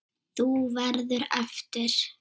Þú verður eftir.